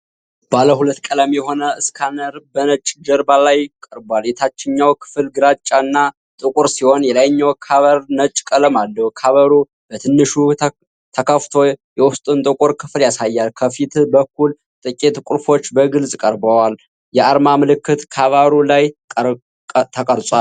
ባለ ሁለት ቀለም የሆነ ስካነር በነጭ ጀርባ ላይ ቀርቧል። የታችኛው ክፍል ግራጫና ጥቁር ሲሆን የላይኛው ካቨር ነጭ ቀለም አለው። ካቨሩ በትንሹ ተከፍቶ የውስጡን ጥቁር ክፍል ያሳያል። ከፊት በኩል ጥቂት ቁልፎች በግልጽ ቀርበዋል። የአርማ ምልክት ካቨሩ ላይ ተቀርጿል።